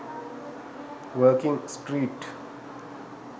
working street